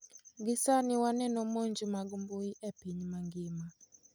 Gi sani waneno monj mag mbuyi e piny mangima.